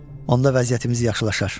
Onda vəziyyətimiz yaxşılaşar.